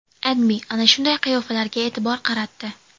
AdMe ana shu qiyofalarga e’tibor qaratdi .